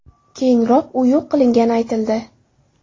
Keyinroq u yo‘q qilingani aytildi.